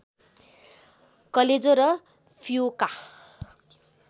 कलेजो र फियोका